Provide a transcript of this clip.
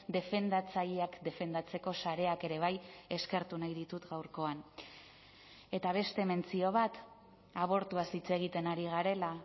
defendatzaileak defendatzeko sareak ere bai eskertu nahi ditut gaurkoan eta beste mentzio bat abortuaz hitz egiten ari garela